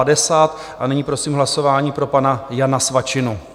A nyní prosím hlasování pro pana Jana Svačinu.